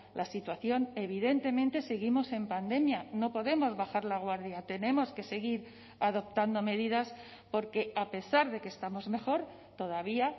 la situación evidentemente seguimos en pandemia no podemos bajar la guardia tenemos que seguir adoptando medidas porque a pesar de que estamos mejor todavía